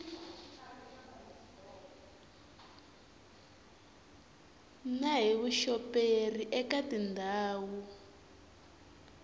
na hi vuxoperi eka tindhawu